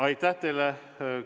Aitäh teile!